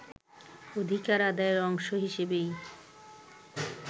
অধিকার আদায়ের অংশ হিসেবেই